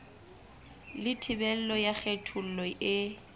le thibelo ya kgethollo e